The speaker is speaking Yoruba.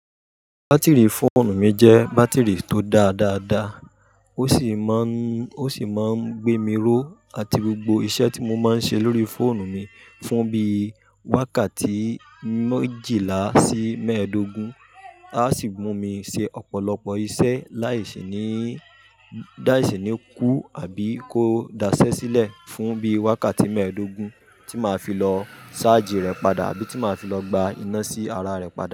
Bátìrì fóònù mi jẹ́ bátìrì tó dáa dáadáa, ó sì máa ń, ó sì máa ń gbé mi ró àti gbogbo iṣẹ́ tí mo máa ń ṣe lórí fóònù mi fún bí wákàtí méjìlá sí mẹ́ẹ̀ẹ́dógún, á sì mu mi ṣe ọ̀pọ̀lọpọ̀ iṣẹ́ láìṣe ní, láìṣe ní kú àbí kó daṣẹ́ sílẹ̀ fún bí wákàtí mẹ́ẹ̀dógún tí màá fi lọ ṣájì rẹ̀ padà àbí tí màá fi lọ gba iná sí ara rẹ̀ padà.